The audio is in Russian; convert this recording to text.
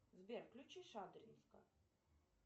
сбер включи шадринска